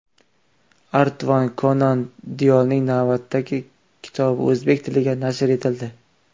Artur Konan Doylning navbatdagi kitobi o‘zbek tilida nashr etildi.